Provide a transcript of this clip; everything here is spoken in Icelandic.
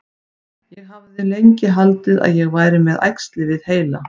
Ég hafði lengi haldið að ég væri með æxli við heila.